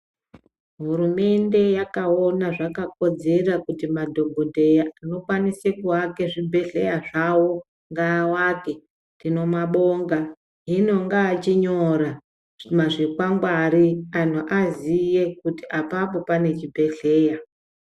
Hurumende yaka ona zvaka kodzera kuti madhokoteya ano kwanise kuwake zvi bhedhleya zvawo ngaa wake tino mabonga hino ngaa chinyora zvi kwangwari anhu aziye kuti apapo pane chi bhedhleya.